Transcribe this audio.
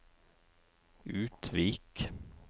Utvik